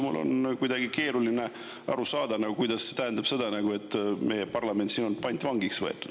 Mul on kuidagi keeruline aru saada, kuidas see tähendab, et meie parlament siin on pantvangiks võetud.